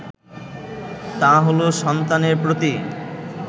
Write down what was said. তা হলো সন্তানের প্রতি